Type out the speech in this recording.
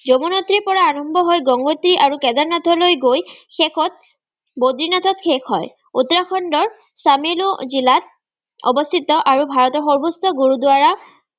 যমোনত্ৰীৰপৰা আৰম্ভহৈ গংগোত্ৰী আৰু কেদাৰনাথলৈ গৈ শেষত বদ্ৰীনাথত শেষ হয়। উত্তৰাখণ্ডৰ চানিলো জিলাত অৱস্থিত আৰু ভাৰতৰ সৰ্বোচ্চ গুৰুদ্বাৰা